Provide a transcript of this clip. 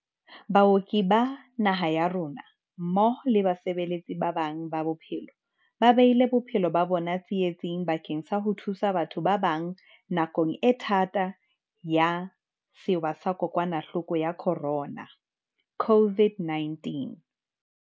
Baoki ba naha ya rona, mmoho le basebeletsi ba bang ba bophelo, ba beile bophelo ba bona tsi etsing bakeng sa ho thusa batho ba bang nakong e thata ya sewa sa Kokwanahloko ya Corona, COVID-19..